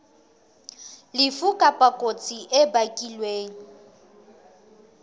lefu kapa kotsi e bakilweng